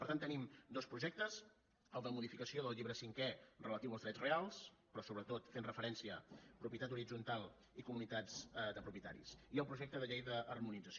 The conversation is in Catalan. per tant tenim dos projectes el de modificació del llibre cinquè relatiu als drets reals però sobretot fent referència a propietat horitzontal i comunitats de propietaris i el projecte de llei d’harmonització